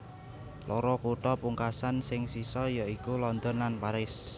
Loro kutha pungkasan sing sisa ya iku London lan Paris